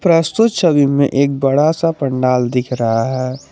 प्रस्तुत छवि में एक बड़ा सा पंडाल दिख रहा है।